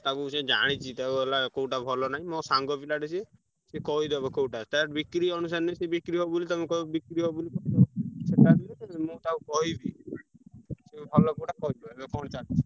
ତାକୁ ସିଏ ଜାଣିଛି ତ ହେଲା କୋଉଟା ଭଲ ନାହିଁ ମୋ ସାଙ୍ଗ ପିଲାଟି ସିଏ। ସିଏ କହିଡବ କୋଉଟା ତାର ବିକ୍ରି ଅବୁସାରେ ନୁହେଁ ସେ ବିକ୍ରି ହବ ବୋଲି ତମୁକୁ କହିବ ବିକ୍ରି ହବ ବୋଲି ସେଟା ନୁହେଁ ମୁଁ ତାକୁ କହିବି ସେ ଭଲ କୋଉଟା କହିଦବ, ଏବେ କଣ ଚାଲିଚି।